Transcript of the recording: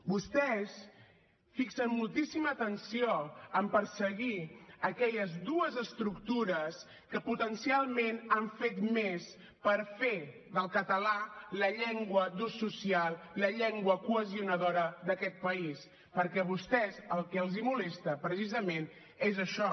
vostès fixen moltíssima atenció en perseguir aquelles dues estructures que potencialment han fet més per fer del català la llengua d’ús social la llengua cohesionadora d’aquest país perquè a vostès el que els molesta precisament és això